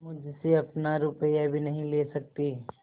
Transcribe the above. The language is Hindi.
मुझसे अपना रुपया भी नहीं ले सकती